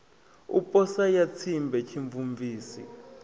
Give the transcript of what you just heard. u posa ya tsimbe tshimvumvusi